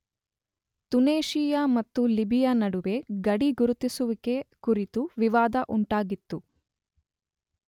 ತುನೇಶಿಯಾ ಮತ್ತು ಲಿಬಿಯಾ ನಡುವೆ ಗಡಿ ಗುರುತಿಸುವಿಕೆ ಕುರಿತು ವಿವಾದ ಉಂಟಾಗಿತ್ತು.